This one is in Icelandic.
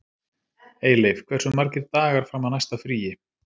Eyleif, hversu margir dagar fram að næsta fríi?